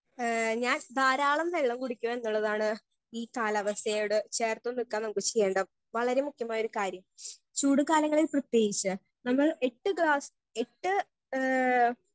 Speaker 1 ഏ ഞാൻ ധാരാളം വെള്ളം കുടിക്കും എന്നുള്ളതാണ് ഈ കാലാവസ്ഥയോട് ചേർത്ത് നിൽക്കാൻ നമുക്ക് ചെയ്യേണ്ട വളരെ മുഖ്യമായൊരു കാര്യം ചൂട് കാലങ്ങളിൽ പ്രത്യേകിച്ച് നമ്മൾ എട്ട് ഗ്ലാസ് എട്ട് ഏ.